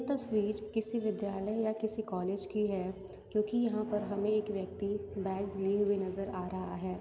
तस्वीर किसी विद्यालय या किसी कॉलेज की है क्यूंकी यहाँ पर हमे एक यक्ति बैग लिए हुऐ नज़र आ रहा है।